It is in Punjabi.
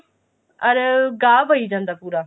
ਅਰ ਗਾਹ ਪਈ ਜਾਂਦਾ ਪੂਰਾ